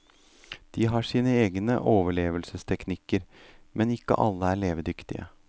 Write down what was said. De har sine egne overlevelsesteknikker, men ikke alle er levedyktige.